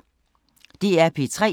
DR P3